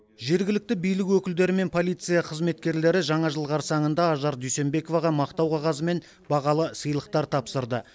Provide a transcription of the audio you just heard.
жергілікті билік өкілдері мен полиция қызметкерлері жаңа жыл қарсаңында ажар дүйсенбековаға мақтау қағазы мен бағалы сыйлықтар тапсырды